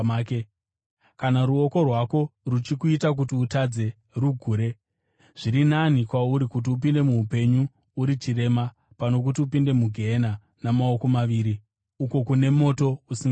Kana ruoko rwako ruchikuita kuti utadze, rugure. Zviri nani kwauri kuti upinde muupenyu uri chirema pano kuti upinde mugehena namaoko maviri, uko kune moto usingadzimwi,